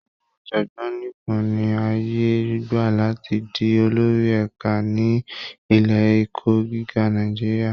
Àwọn ọ̀jọ̀gbọ́n nìkan ni àyè gbà láti di olórí ẹ̀ka ní ilé ẹ̀kọ́ gíga Nàìjíríà